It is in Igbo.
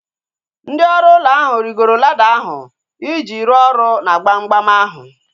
Ndị ọrụ ụlọ ahu rigoro lada ahu iji rụọ ọrụ na gbamgbam ahu